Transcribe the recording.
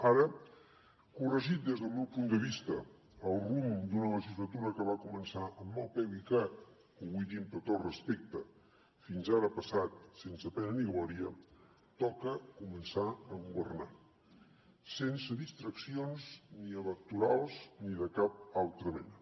ara corregit des del meu punt de vista el rumb d’una legislatura que va començar amb mal peu i que ho vull dir amb tot el respecte fins ara ha passat sense pena ni glòria toca començar a governar sense distraccions ni electorals ni de cap altra mena